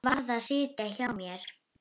Varð að sitja á mér.